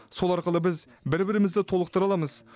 сол арқылы біз бір бірімізді толықтыра аламыз